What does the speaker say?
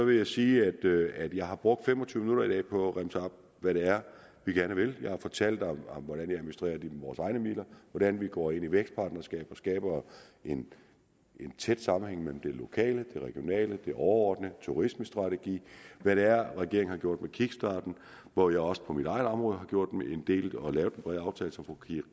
jeg sige at jeg har brugt fem og tyve minutter i dag på at remse op hvad det er vi gerne vil jeg har fortalt om hvordan vi administrerer vores egne midler hvordan vi går ind i vækstpartnerskaber og skaber en tæt sammenhæng mellem det lokale det regionale det overordnede turismestrategiske og hvad det er regeringen har gjort med kickstarten hvor jeg også på mit eget område har gjort en del og har lavet en bred aftale som fru